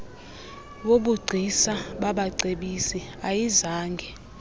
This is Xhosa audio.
wobugcisa babacebisi ayizange